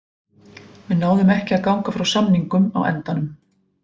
Við náðum ekki að ganga frá samningum á endanum.